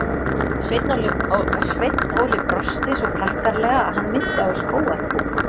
Sveinn Óli brosti svo prakkaralega að hann minnti á skógar púka.